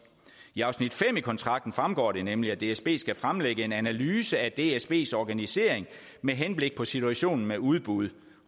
i afsnit fem i kontrakten fremgår det nemlig at dsb skal fremlægge en analyse af dsbs organisering med henblik på situationen med udbud